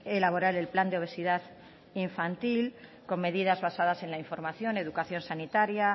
elaborar el plan de obesidad infantil con medidas basadas en la información educación sanitaria